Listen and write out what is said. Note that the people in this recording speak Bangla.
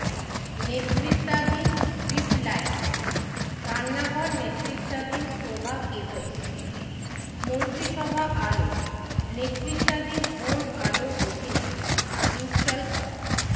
নেতৃত্বাধীন স্ট্রিপ লাইট রান্নাঘর নেতৃত্বাধীন প্রভা কেবেল মন্ত্রিসভা আলো নেতৃত্বাধীন হোম আলোর অধীনে ইনস্টল করা